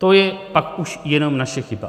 To je pak už jenom naše chyba.